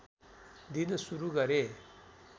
दिन सुरू गरे